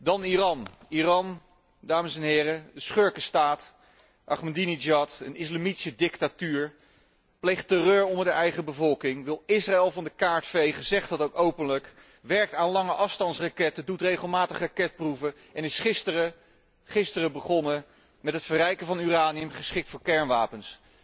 Dan Iran, dames en heren, een schurkenstaat Ahmadinejad, een islamitische dictatuur pleegt terreur onder de eigen bevolking, wil Israël van de kaart vegen, zegt dat ook openlijk, werkt aan lange afstandsraketten, doet regelmatig raketproeven en is gisteren begonnen met het verrijken van uranium, geschikt voor kernwapens.